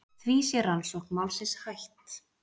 Því sé rannsókn málsins hætt.